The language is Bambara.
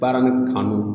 Baara kanu